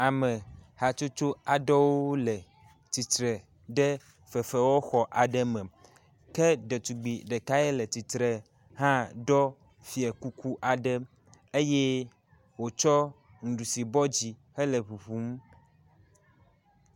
Ame hatsotso aɖewo le tsitre ɖe fefewɔxɔ aɖe me, ke ɖetugbi ɖeka yiɛ le tsitre hã ɖɔ fiakuku aɖe eye wotsɔ nuɖusi bɔ dzi hele ʋuʋum.